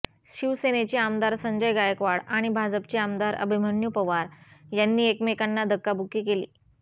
शिवसेनेचे आमदार संजय गायकवाड आणि भाजपचे आमदार अभिमन्यू पवार यांनी एकमेकांना धक्काबुक्की केली